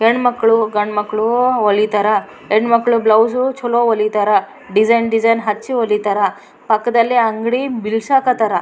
ಹೆಣ್ ಮಕ್ಳು ಗಂಡ್ಮಕ್ಕ್ಳು ಹೊಲಿತಾರ ಹೆಣ್ಣ್ಮಕ್ಕ್ಳು ಬ್ಲೌಸ್ ಚಲೋ ಹೊಲಿತಾರ ಡಿಸೈನ್ ಡಿಸೈನ್ ಹಚ್ಚೆ ಹೊಲಿತಾರ ಪಕ್ಕದಲ್ಲಿ ಅಂಗ್ಡಿ ಬಿಳ್ಸಾಕತ್ತಾರ .